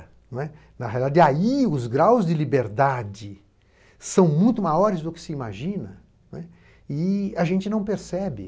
E aí os graus de liberdade são muito maiores do que se imagina e a gente não percebe.